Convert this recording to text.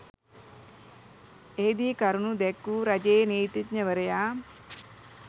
එහිදී කරුණු දැක්වූ රජයේ නීතිඥවරයා